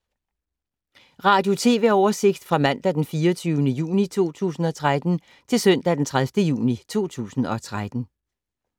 Radio/TV oversigt fra mandag d. 24. juni 2013 til søndag d. 30. juni 2013